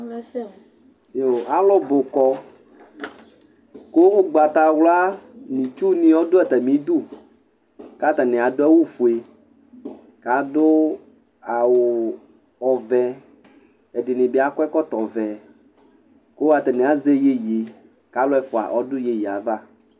Alʋbʋ kɔ kʋ ugbatawla nʋ itsʋ ni adʋ atami idʋ kʋ atani adʋ awʋfue kʋ adʋ awʋ ɔvɛ ɛdini bi akɔ ɛkɔtɔvɛ kʋ atani azɛ yeye kʋ alʋ ɛfʋ adʋ yeyeyɛ ava